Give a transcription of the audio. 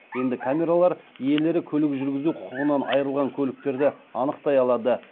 енді камералар иелері көлік жүргізу құқығынан айырылған көліктерді анықтай алады